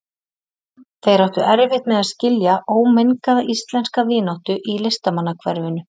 Þeir áttu erfitt með að skilja ómengaða íslenska vináttu í listamannahverfinu.